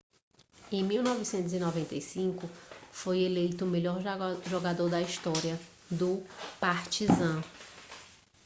em 1995 foi eleito o melhor jogador da história do partizan